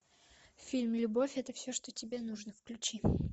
фильм любовь это все что тебе нужно включи